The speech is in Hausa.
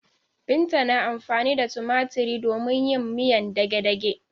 Binta na amfani da tumatiri domin yin miyan dagedage.